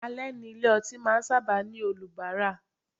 Ale ni ilé ọtí máa ń sábà ní olubara.